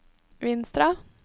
Vinstra